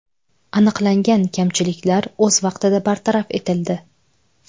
Aniqlangan kamchiliklar o‘z vaqtida bartaraf etildi.